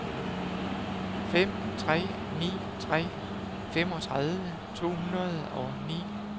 fem tre ni tre femogtredive to hundrede og ni